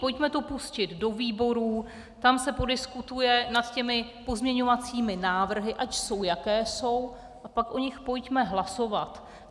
Pojďme to pustit do výborů, tam se podiskutuje nad těmi pozměňovacími návrhy, ať jsou, jaké jsou, a pak o nich pojďme hlasovat.